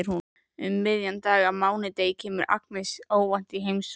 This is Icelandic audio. Um miðjan dag á mánudegi kemur Agnes óvænt í heimsókn.